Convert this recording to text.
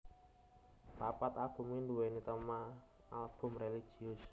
Papat albumé nduwèni téma album religius